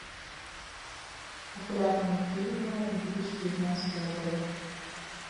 популярные фильмы две тысячи девятнадцатого года